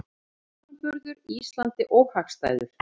Samanburður Íslandi óhagstæður